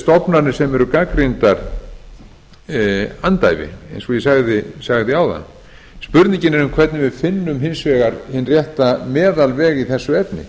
stofnanir sem eru gagnrýndar andæfi eins og ég sagði áðan spurningin er um hvernig við finnum hins vegar hinn rétta meðalveg í þessu efni